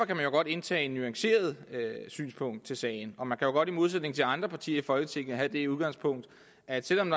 kan man godt indtage et nuanceret synspunkt i sagen og man kan jo godt i modsætning til andre partier i folketinget have det udgangspunkt at selv om